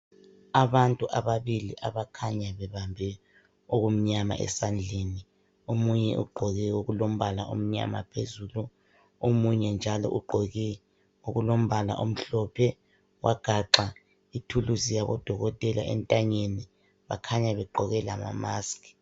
Abantu ababili abakhanya bebambe okumnyama esandleni. Omunye ugqoke okulombala omnyama phezulu esandleni. Omunye njalo ugqoke okulombala omhlophe wagaxa ithulusi yabodokotela entanyeni, bakhanya begqoke lamamaski.